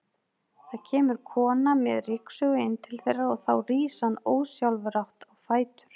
Það kemur kona með ryksugu inn til þeirra og þá rís hann ósjálfrátt á fætur.